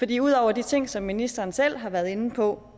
det ud over de ting som ministeren selv har været inde på